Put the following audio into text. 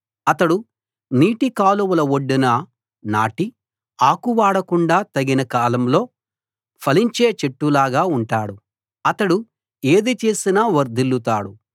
అతడు నీటికాలువల ఒడ్డున నాటి ఆకు వాడకుండా తగిన కాలంలో ఫలించే చెట్టులాగా ఉంటాడు అతడు ఏది చేసినా వర్ధిల్లుతాడు